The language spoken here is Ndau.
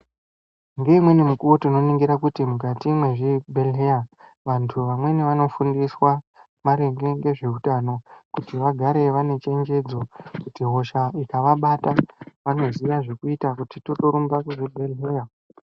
Ngeimweni mukuwo tinoningira kuti mukati mezvibhedhleya vantu vamweni vanofundiswa maringe ngezveutano kuti vagare vane chenjedzo kuti hosha ikavabata vanoziya zvekuita kuti totorumba kuzvibhedhleya.